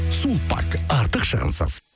сулпак артық шығынсыз